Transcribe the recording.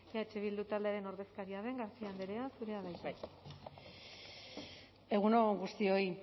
eh bildu taldearen ordezkaria den garcia andrea zurea da hitza egun on guztioi